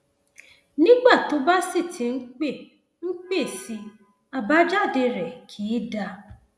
nígbà tó bá sì ti ń pẹ ń pẹ sí i àbájáde rẹ kìí dáa